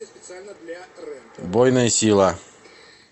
убойная сила